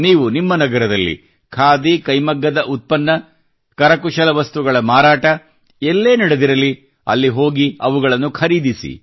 ನೀವು ನಿಮ್ಮ ನಗರದಲ್ಲಿ ಖಾದಿ ಕೈಮಗ್ಗದ ಉತ್ಪನ್ನ ಕರಕುಶಲ ವಸ್ತುಗಳ ಮಾರಾಟ ಎಲ್ಲೇ ನಡೆದಿರಲಿ ಅಲ್ಲಿ ಹೋಗಿ ಅವುಗಳನ್ನು ಖರೀದಿಸಿ